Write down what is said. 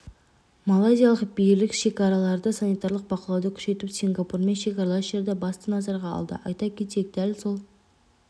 малайзиялық билік шекараларда санитарлық бақылауды күшейтіп сингапурмен шекаралас жерді басты назарға алды айта кетейік дәл сол